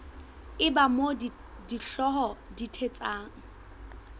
eba moo dihlooho di thetsang